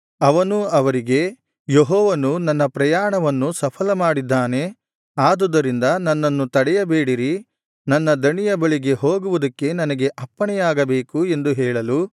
ಅವನು ಅವರಿಗೆ ಯೆಹೋವನು ನನ್ನ ಪ್ರಯಾಣವನ್ನು ಸಫಲಮಾಡಿದ್ದಾನೆ ಆದುದರಿಂದ ನನ್ನನ್ನು ತಡೆಯಬೇಡಿರಿ ನನ್ನ ದಣಿಯ ಬಳಿಗೆ ಹೋಗುವುದಕ್ಕೆ ನನಗೆ ಅಪ್ಪಣೆಯಾಗಬೇಕು ಎಂದು ಹೇಳಲು